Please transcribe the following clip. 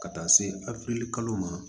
Ka taa se afirikili kalo ma